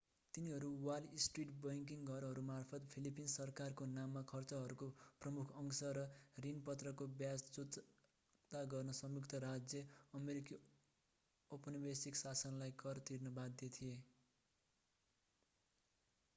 तिनीहरू Wall Street banking घरहरूमार्फत Philippines सरकारको नाममा खर्चहरूको प्रमुख अंश र ऋणपत्रको व्याज चुक्ता गर्न संयुक्त राज्य अमेरिकी औपनिवेशिक शासनलाई कर तिर्न बाध्य थिए